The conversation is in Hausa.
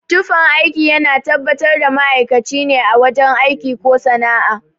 Tufan aiki yana tabbatar da ma'aikaci ne a wajen aiki ko sana'a